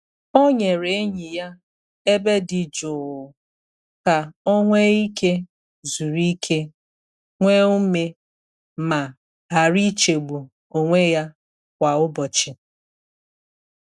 O nyere enyi ya ebe dị jụụ ka ọ nwee ike zuru ike, nwee ume, ma ghara ichegbu onwe ya kwa ụbọchị.